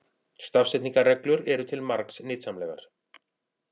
Stafsetningarreglur eru til margs nytsamlegar.